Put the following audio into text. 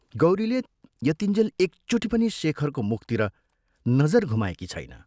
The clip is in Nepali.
गौरीले यतिञ्जेल एकचोटि पनि शेखरको मुखतिर नजर घुमाएकी छैन।